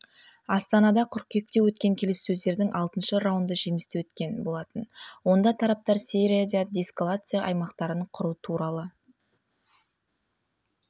астанада қыркүйекте өткен келіссөздердің алтыншы раунды жемісті өткен болатын онда тараптар сирияда деэскалация аймақтарын құру туралы